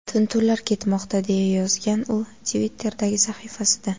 Tintuvlar ketmoqda”, deya yozgan u Twitter’dagi sahifasida.